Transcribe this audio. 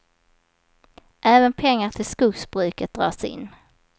Även pengar till skogsbruket dras in.